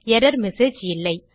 error message இல்லை